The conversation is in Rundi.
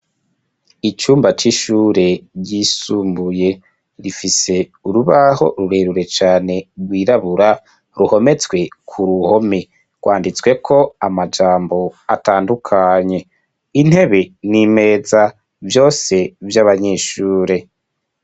Icumba c'ishure, ryisumbuye; rifise urubaho, rurerure cane, rwirabura, ruhometswe ku ruhome; rwanditsweko amajambo, atandukanye; intebe n'imeza, vyose vy'abanyeshure.